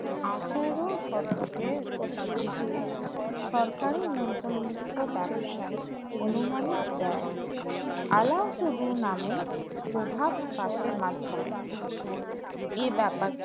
আঠেরো শতকের দিকে সরকারের নিয়ন্ত্রণ মুক্ত ব্যবসায় আনুমানিক বেই allow to do নামে প্রভাব পাশের মাধ্যমে এই ব্যাপারটা